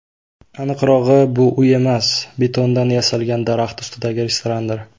Aniqrog‘i, bu uy emas, betondan yasalgan daraxt ustidagi restorandir.